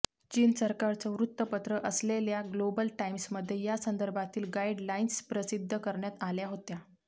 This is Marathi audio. चीन सरकारचं वृत्तपत्र असलेल्या ग्लोबल टाईम्समध्ये यासंदर्भातील गाईडलाईन्स प्रसिद्ध करण्यात आल्या होत्या